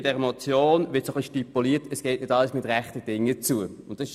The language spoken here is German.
Mit dieser Motion wird ein wenig stipuliert, dass nicht alles mit rechten Dingen zugeht.